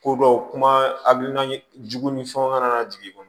Ko dɔ kuma hakilina jugu ni fɛnw kana na jigin kɔnɔ